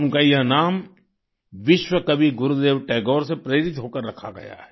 उनका यह नाम विश्व कवि गुरुदेव टैगोर से प्रेरित होकर रखा गया है